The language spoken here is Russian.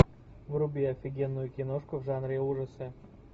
вруби офигенную киношку в жанре ужасы